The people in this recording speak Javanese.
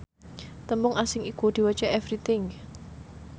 tembung asing iku diwaca everything